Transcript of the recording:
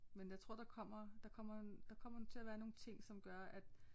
Men jeg tror der kommer der kommer en der kommer til at være nogle ting som gør at